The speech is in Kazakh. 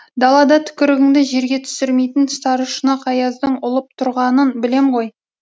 далада түкірігіңді жерге түсірмейтін сарышұнақ аяздың ұлып тұрғанын білем ғой